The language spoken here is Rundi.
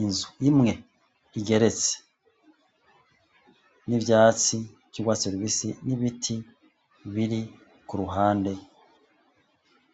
inzu imwe igeretse, n'ivyatsi vy'urwatsi rubisi, n'ibiti biri ku ruhande,